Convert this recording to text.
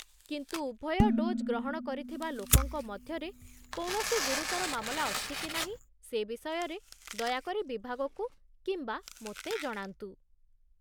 କିନ୍ତୁ ଉଭୟ ଡୋଜ୍ ଗ୍ରହଣ କରିଥିବା ଲୋକଙ୍କ ମଧ୍ୟରେ କୌଣସି ଗୁରୁତର ମାମଲା ଅଛି କି ନାହିଁ ସେ ବିଷୟରେ ଦୟାକରି ବିଭାଗକୁ କିମ୍ବା ମୋତେ ଜଣାନ୍ତୁ।